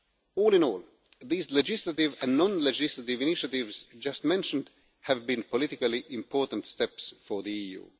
All in all, these legislative and non legislative initiatives just mentioned have been politically important steps for the EU.